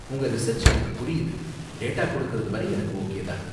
உங்க ரிசர்ச் எனக்கு புரியுது, டேட்டா கொடுக்குறது வரை எனக்கு ஓகே தான்.